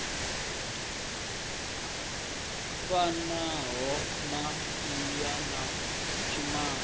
fanaho na mmbwa na tshimange